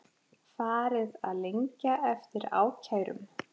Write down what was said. Farið að lengja eftir ákærum